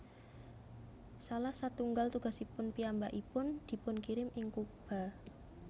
Salah satunggal tugasipun piyambakipun dipunkirim ing Kuba